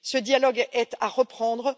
Ce dialogue est à reprendre.